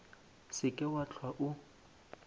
se ke wa hlwa o